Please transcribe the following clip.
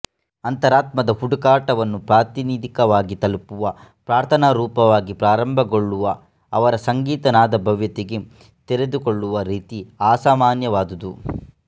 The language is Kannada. ಅಂತರಾತ್ಮದ ಹುಡುಕಾಟವನ್ನು ಪ್ರಾತಿನಿಧಿಕವಾಗಿ ತಲುಪುವ ಪ್ರಾರ್ಥನಾ ರೂಪವಾಗಿ ಪ್ರಾರಂಭಗೊಳ್ಳುವ ಅವರ ಸಂಗೀತ ನಾದಭವ್ಯತೆಗೆ ತೆರೆದುಕೊಳ್ಳುವ ರೀತಿ ಆಸಾಮಾನ್ಯವಾದುದು